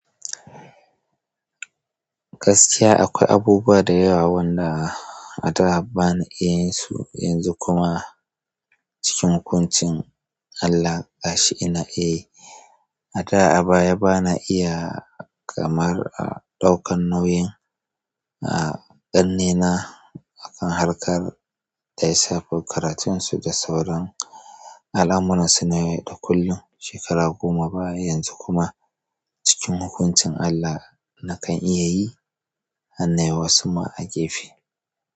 Gaskiya akwai abubuwa da yawa wanda a da ba ni iya yin su, yanzu kuma cikin hukuncin Allah ga shi ina iya yi. A da a baya bana iya kamar ɗaukar nauyin ƙannena a kan harkar da ya shafi karatunsu da sauran al'amuran su na yau da kullum shekara goma baya yanzu kuma cikin hukuncin Allah nakan iya yi har nayi wa wasu ma a gefe.